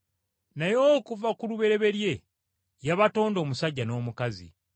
Naye okuva ku lubereberye yabatonda omusajja n’omukazi.